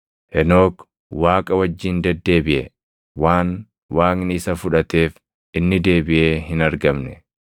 Henook Waaqa wajjin deddeebiʼe; waan Waaqni isa fudhateef inni deebiʼee hin argamne.